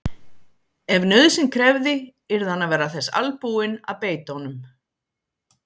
Ef nauðsyn krefði yrði hann að vera þess albúinn að beita honum.